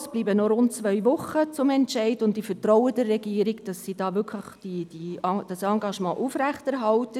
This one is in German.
Es bleiben noch rund zwei Wochen bis zum Entscheid, und ich vertraue der Regierung, dass sie ihr Engagement aufrechterhält.